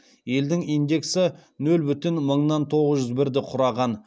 елдің индексі нөл бүтін мыңнан тоғыз жүз бірді құраған